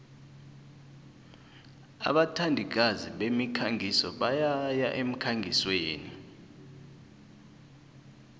abathandikazi bemikhangiso bayaya emkhangisweni